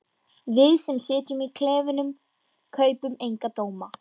Við sem sitjum í klefunum kaupum enga dóma.